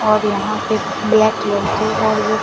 और यहां पे ब्लैक कलर के और ये--